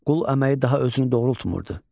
Qul əməyi daha özünü doğrultmurdu.